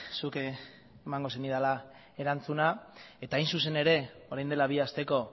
zuk emango zenidala erantzuna eta hain zuzen ere orain dela bi asteko